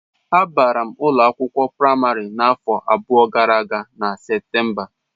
Abara m ụlọ akwụkwọ praịmarị n'afọ gara aga na Septemba.